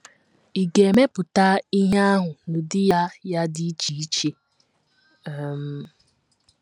Ị̀ ga - emepụta ihe ahụ n’ụdị ya ya dị iche iche um?